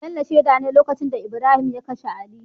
Bello sheda ne lokacin da Ibrahim ya kashe ali